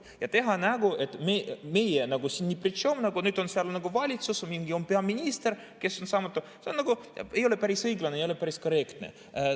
Ja teha nägu, et meie siin nagu ne pritšom, nüüd on seal valitsus, on peaminister, kes on saamatu – see nagu ei ole päris õiglane, see ei ole päris korrektne.